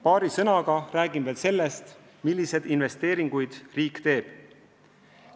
Paari sõnaga räägin veel sellest, milliseid investeeringuid riik teeb.